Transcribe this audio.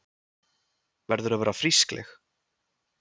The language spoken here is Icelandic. Verður að vera frískleg.